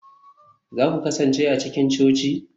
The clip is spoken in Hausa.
za ku kasance a cikin coci?